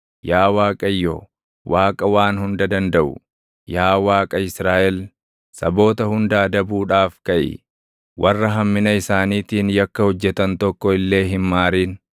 Yaa Waaqayyo, Waaqa Waan Hunda Dandaʼu, yaa Waaqa Israaʼel, saboota hunda adabuudhaaf kaʼi; warra hammina isaaniitiin yakka hojjetan tokko illee hin maarin.